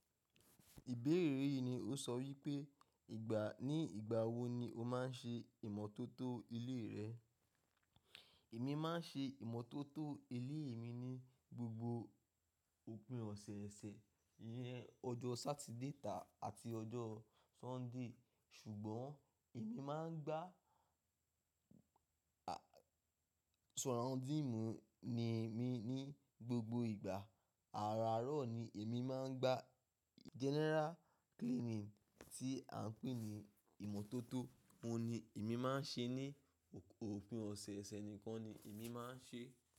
Ìbéèrè yìí ni ó sọ wípé ìgbà, ní ìgbà wo ni o máa ń ṣe ìmọ́tótó ilé rẹ? Èmi máa ń ṣe ìmọ́tótó ilé mi ní gbogbo òpin ọ̀sẹ̀ẹ̀sẹ̀, iyẹn ọjọ́ Saturday tá àti ọjọ́ Sunday. Ṣùgbọ́n èmi máa ń gbá surrounding mi ní gbogbo ìgbà. Àràárọ̀ ni èmi máa ń gbá general cleaning tí à ń pè ní ìmọ́tótó, òun ni èmi máa ń ṣe ní òpin ọ̀sẹ̀ẹ̀sẹ̀ nìkan ni èmi máa ń ṣe.